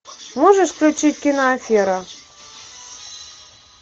можешь включить кино афера